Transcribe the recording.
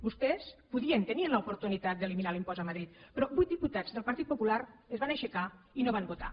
vostès podien tenien l’oportunitat d’eliminar l’impost a madrid però vuit diputats del partit popular es van aixecar i no van votar